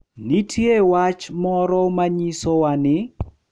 Nitie wach moro ma nyisowa ni .